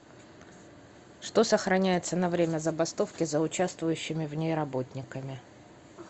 что сохраняется на время забастовки за участвующими в ней работниками